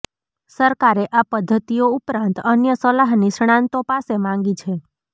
સરકારે આ પઘ્ધતિઓ ઉપરાંત અન્ય સલાહ નિષ્ણાંતો પાસે માંગી છે